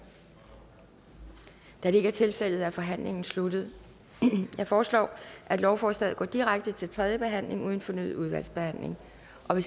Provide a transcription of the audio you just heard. da det ikke er tilfældet er forhandlingen sluttet jeg foreslår at lovforslaget går direkte til tredje behandling uden fornyet udvalgsbehandling hvis